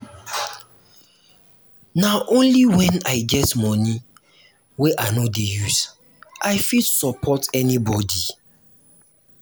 na only wen i get moni wey i no dey use i fit support anybodi.